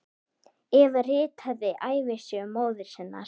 Eva ritaði ævisögu móður sinnar.